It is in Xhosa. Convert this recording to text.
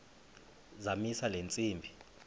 zamisa le ntsimbi